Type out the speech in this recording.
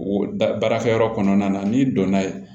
O da baarakɛyɔrɔ kɔnɔna na n'i donna